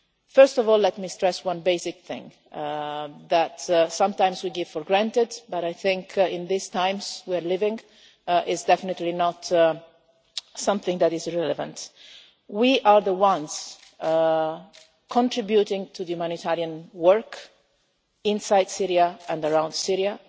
First of all, let me stress one basic thing that sometimes we take for granted, but I think in these times we are living, it is definitely not something that is irrelevant we are the ones contributing to the humanitarian work inside Syria and around Syria.